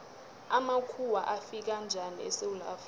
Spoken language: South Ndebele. amakhuwa afika njani esewula afrika